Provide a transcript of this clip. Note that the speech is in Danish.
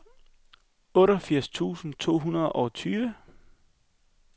otteogfirs tusind to hundrede og tyve